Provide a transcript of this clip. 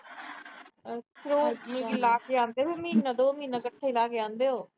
ਅੱਛਾ। ਅੱਗੇ ਵੀ ਲਾ ਕੇ ਆਂਦੇ ਉਹ। ਮਹੀਨਾ, ਦੋ-ਮਹੀਨਾ ਕੱਠੇ ਲਾ ਕੇ ਆਂਦੇ।